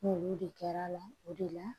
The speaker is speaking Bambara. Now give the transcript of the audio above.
N'olu de kɛra a la o de la